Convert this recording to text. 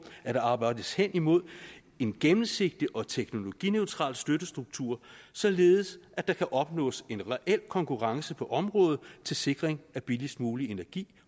at der arbejdes hen imod en gennemsigtig og teknologineutral støttestruktur således at der kan opnås en reel konkurrence på området til sikring af billigst mulig energi